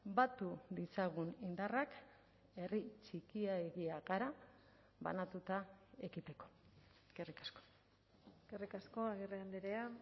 batu ditzagun indarrak herri txikiegia gara banatuta ekiteko eskerrik asko eskerrik asko agirre andrea